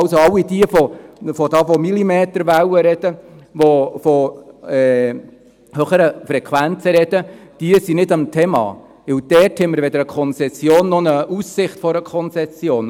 All jene, die von Millimeterwellen und höheren Frequenzen reden, sind nicht im Thema, denn dort haben wir weder eine Konzession noch eine Aussicht auf eine Konzession.